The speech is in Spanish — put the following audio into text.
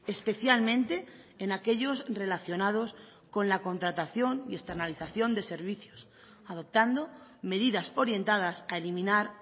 especialmente en aquellos relacionados con la contratación y externalización de servicios adoptando medidas orientadas a eliminar